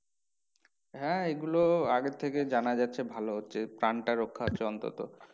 হ্যাঁ এইগুলো আগে থেকে জানা যাচ্ছে ভালো হচ্ছে প্রাণটা রক্ষা হচ্ছে অন্তত।